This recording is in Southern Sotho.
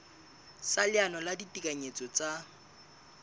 sa leano la ditekanyetso tsa